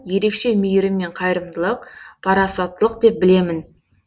ерекше мейірім мен қайырымдылық парасаттылық деп білемін